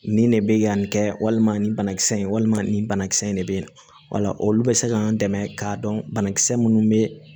Nin de bɛ yen yan nin kɛ walima nin banakisɛ in walima nin banakisɛ in de bɛ yen wala olu bɛ se k'an dɛmɛ k'a dɔn banakisɛ minnu bɛ